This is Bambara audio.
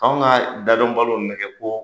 Anw ka dadɔn baliw nɛgɛ ko